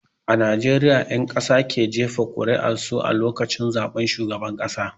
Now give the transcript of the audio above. A Najeriya 'ƴan ƙasa ke jefa ƙur'ar su a lokacin zaben shugaban ƙasa.